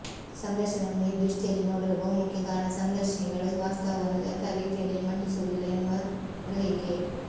ಸಂದರ್ಶನವನ್ನು ಈ ದೃಷ್ಟಿಯಲ್ಲಿ ನೋಡಲು ಬಹುಮುಖ್ಯ ಕಾರಣ ಸಂದರ್ಶಿನಿಗಳು ವಾಸ್ತವವನ್ನು ಯಥಾರೀತಿಯಲ್ಲಿ ಮಂಡಿಸುವುದಿಲ್ಲ ಎನ್ನುವ ಗ್ರಹಿಕೆ